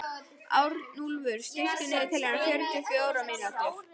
Arnúlfur, stilltu niðurteljara á fjörutíu og fjórar mínútur.